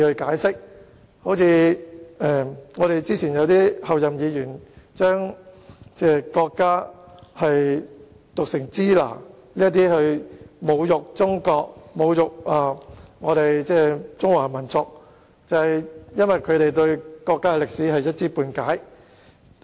早前兩位前候任議員將中國的英文讀成"支那"，藉此侮辱中國和中華民族，就是因為他們對國家歷史一知半解。